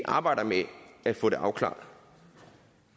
arbejder med at få det afklaret